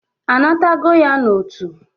A nabatago ya n'otu?